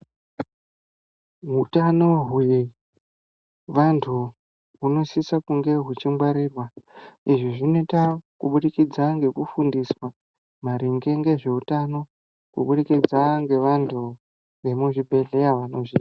Hutano wevantu, wunosisa kunge wuchingwarirwa. Izvi zvinoyita kubudikidza ngekufundiswa maringe ngezvewutano, kubudikidza ngevantu vemuzvibhedhleya.